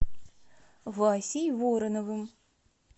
васей вороновым